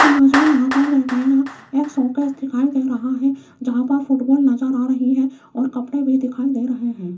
Image में यहां पर देखिएगा एक शोकेस दिखाई दे रहा है जहां पर फुटबॉल नजर आ रही है और कपड़े भी दिखाई दे रहे हैं।